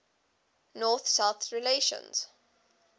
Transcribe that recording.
north south relations